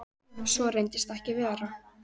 Svo reynist ekki vera.